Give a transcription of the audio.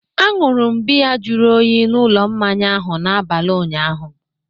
Anụrụ m biya jụrụ oyi n'ụlọ mmanya ahụ n'abalị ụnyaahụ